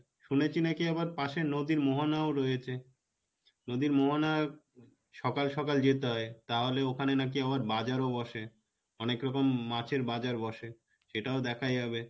শুনেছি নাকী আবার পাশে নদীর মোহনাও রয়েছে, নদীর মোহনা সকাল সকাল যেতে হয় তাহলে ওখানে নাকি আবার বাজারও বসে অনেকরকম মাছের বাজার বসে সেটাও দেখা যাবে